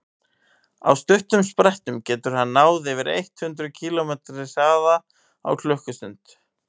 á stuttum sprettum getur hann náð yfir eitt hundruð kílómetri hraða á klukkustund